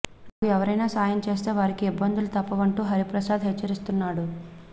నాకు ఎవరైనా సాయం చేస్తే వారికి ఇబ్బందులు తప్పవంటూ హరిప్రసాద్ హెచ్చరిస్తున్నాడు